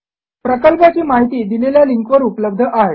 प्रकल्पाची माहिती दिलेल्या लिंकवर उपलब्ध आहे